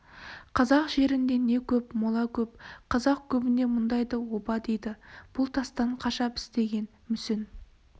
қазақ жерінде не көп мола көп қазақ көбіне мұндайды оба дейді бұл тастан қашап істеген мүсін